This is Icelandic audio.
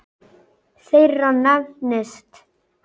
þeirra nefnist